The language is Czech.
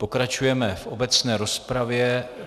Pokračujeme v obecné rozpravě.